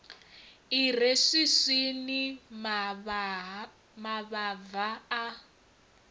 i re swiswini mavhava a